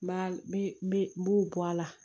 N b'a n bɛ n b'u bɔ a la